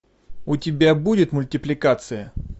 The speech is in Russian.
у тебя будет мультипликация